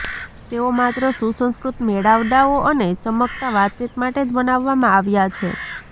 તેઓ માત્ર સુસંસ્કૃત મેળાવડાઓ અને ચમકતા વાતચીત માટે જ બનાવવામાં આવ્યા છે